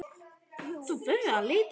Þú verður að leita betur.